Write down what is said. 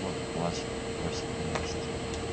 вот плачет просит принести